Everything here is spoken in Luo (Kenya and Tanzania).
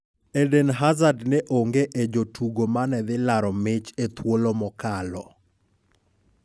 "Eden Hazard ne onge e jotugo mane dhi laro mich ethuolo mokalo.